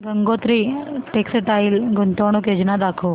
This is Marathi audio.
गंगोत्री टेक्स्टाइल गुंतवणूक योजना दाखव